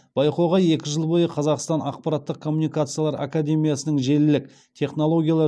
байқауға екі жыл бойы қазақ ақпараттық коммуникациялар академиясының желілік технологиялар